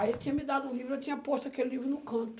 Aí ele tinha me dado um livro, eu tinha posto aquele livro no canto.